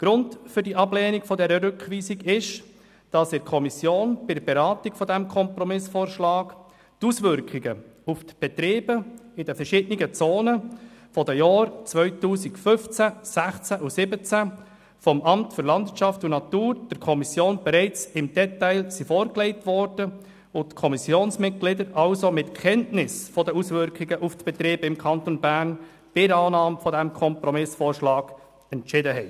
Grund für die Ablehnung dieser Rückweisung ist, dass in der Kommissionsberatung zu diesem Kompromissvorschlag die Auswirkungen auf die Betriebe in den verschiedenen Zonen von den Jahren 2015, 2016 und 2017 vom LANAT der Kommission bereits im Detail vorgelegt worden waren und die Kommissionsmitglieder also in Kenntnis der Auswirkungen auf die Betriebe im Kanton Bern bei der Annahme dieses Kompromissvorschlags entschieden haben.